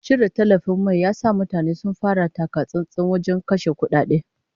Cire tallafin mai ya sa mutane sun fara taka-tsantsan wajen kashe kudade